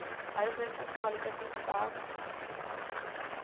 Aí o médico falou assim, olha, ele vai ser entubado.